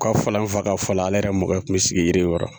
U ka fɔ la n fa ka fɔ la ale yɛrɛ mɔnkɛ kun mɛ sigi yiri in kɔrɔ.